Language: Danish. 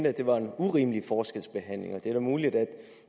at det var en urimelig forskelsbehandling og det er da muligt